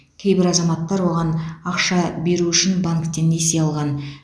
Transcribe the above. кейбір азаматтар оған ақша беру үшін банктен несие алған